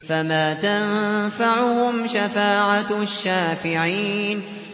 فَمَا تَنفَعُهُمْ شَفَاعَةُ الشَّافِعِينَ